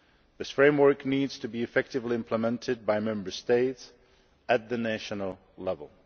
This framework needs to be effectively implemented by Member States at national level.